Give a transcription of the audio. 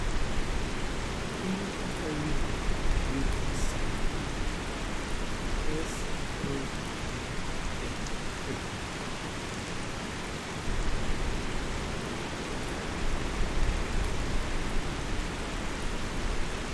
ere kaka inyal thiedhi SAPHO?